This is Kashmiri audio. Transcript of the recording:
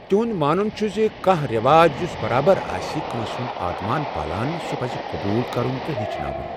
تِہُنٛد مانُن چھُ زِ کانٛہہ رٮ۪واج یُس برابر آسہِ کٲنٛسہِ ہُنٛد آتمان پالان سُہ پَزِ قبوٗل کرُن تہٕ ہیٚچھناوُن۔